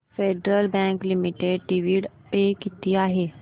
federal Bank Limited dividend pay किती आहे